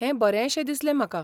हें बरेशें दिसलें म्हाका.